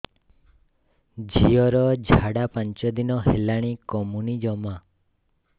ଝିଅର ଝାଡା ପାଞ୍ଚ ଦିନ ହେଲାଣି କମୁନି ଜମା